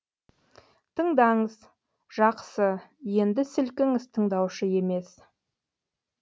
тыңдаңыз жақсы енді сілкіңіз тыңдаушы емес